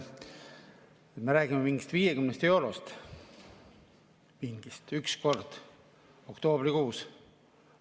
Me räägime mingist 50 eurost üks kord, oktoobrikuus.